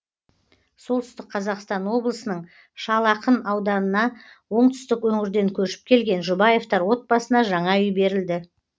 солтүстік қазақстан облысының шал ақын ауданына оңтүстік өңірден көшіп келген жұбаевтар отбасына жаңа үй берілді